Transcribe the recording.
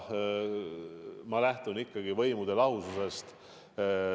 Ma lähtun ikkagi võimude lahususest.